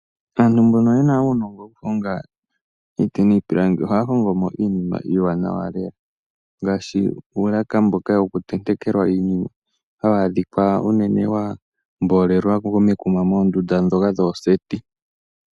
Aantu mbono ye na uunongo wokuhonga iinima miiti niipilangi ohaya hongo mo iinima iiwanawa lela ngaashi uulaka mboka wokutenteka iinima hawu adhika wa mboolelwa momakuma ngaashi mooseti.